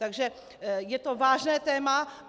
Takže je to vážné téma.